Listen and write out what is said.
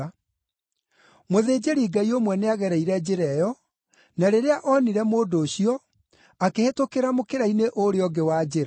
Mũthĩnjĩri-Ngai ũmwe nĩagereire njĩra ĩyo, na rĩrĩa onire mũndũ ũcio, akĩhĩtũkĩra mũkĩra-inĩ ũrĩa ũngĩ wa njĩra.